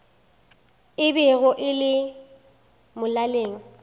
e bego e le molaleng